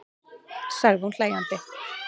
sagði hún hlæjandi.